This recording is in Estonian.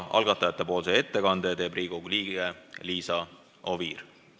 Algatajate nimel teeb ettekande Riigikogu liige Liisa Oviir.